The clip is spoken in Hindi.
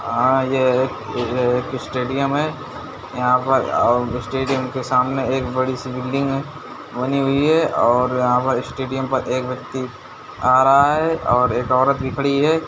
ये एक स्टेडियम है यहा पर अ स्टेडियम के सामने एक बड़ी सी बिल्डिंग है बनी हुई है और यहाँ स्टेडियम पर एक व्यक्ति आ रहा है और एक ओरत भी खड़ी हुई है।